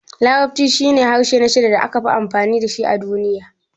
Larabci shine harshe na shida da aka fi amfani da shi a duniya.